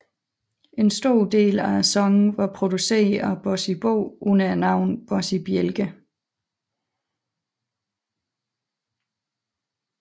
En stor del af sangene var produceret af Bossy Bo under navnet Bossy Bjælke